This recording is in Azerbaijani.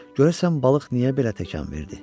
Görəsən balıq niyə belə təkan verdi?